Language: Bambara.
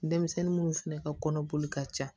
Denmisɛnnin munnu fɛnɛ ka kɔnɔ boli ka ca